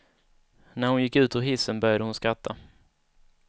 När hon gick ut ur hissen började hon skratta.